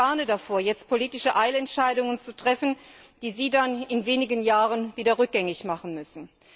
Ich warne davor, jetzt politische Eilentscheidungen zu treffen, die Sie dann in wenigen Jahren wieder rückgängig machen müssen.